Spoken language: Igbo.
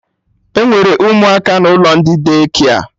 Enwere ụmụaka n'ụlọ ndị Daycare